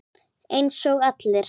Eins og allir.